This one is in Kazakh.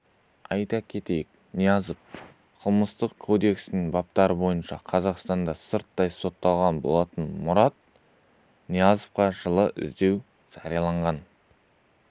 айта кетейік ниязов қылмыстық кодексінің баптары бойынша қазақстанда сырттай сотталған болатын мұрат ниязовқа жылы іздеу жарияланған